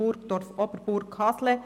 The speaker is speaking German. Burgdorf/Oberburg-Hasle.